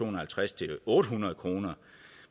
og halvtreds og otte hundrede kr